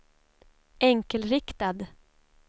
enkelriktad